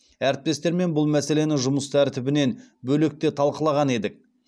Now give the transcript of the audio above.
әріптестермен бұл мәселені жұмыс тәртібінен бөлек те талқылаған едік